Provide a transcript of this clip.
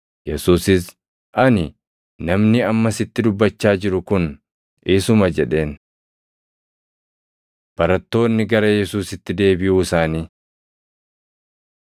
Yesuusis, “Ani, namni amma sitti dubbachaa jiru kun isuma” jedheen. Barattoonni Gara Yesuusitti Deebiʼuu Isaanii